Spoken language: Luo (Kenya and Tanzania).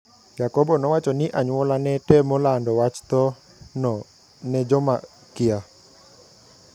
Yakobo nowacho ni anyuolane temo lando wach thoo no nejomakia.